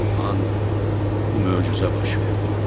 Bu an bu möcüzə baş verdi.